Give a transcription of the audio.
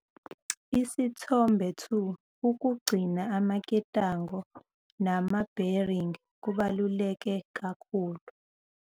Isithombe 2- Ukugcina amaketango nama-bearing kubaluleke kakhulu.